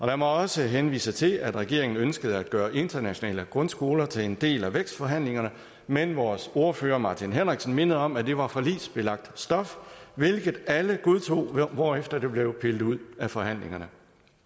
lad mig også henvise til at regeringen ønskede at gøre internationale grundskoler til en del af vækstforhandlingerne men vores ordfører martin henriksen mindede om at det var forligsbelagt stof hvilket alle godtog hvorefter det blev pillet ud af forhandlingerne